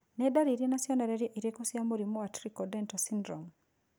Nĩ ndariri na cionereria irĩkũ cia mũrimũ wa Trichodental syndrome?